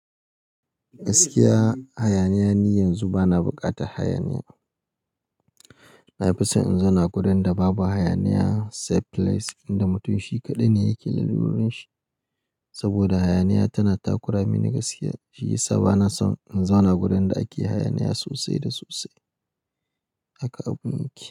Gaskiya hayaniya ni yanzu bana bukata hayaniya. Na fi so in zauna wurin da babu hayaniya, safe place inda mutum shi kaɗai ne yake lallura shi. Saboda hayaniya tana takura mini gaskiya, shi ya sa bana son in zauna gurin da ake hayaniya sosai da sosai. Haka abun yake.